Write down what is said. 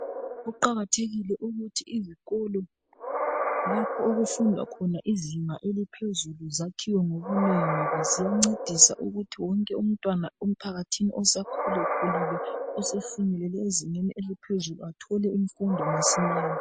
Kuqakathekile ukuthi izikolo lapho okufundwa khona izinga eliphezulu zakhiwe ngobunengi. Ngoba ziyancedisa ukuthi wonke umtwana emphakathini osekhula khulile osefinyelele ezingeni eliphezulu ethole imfundo masinyane.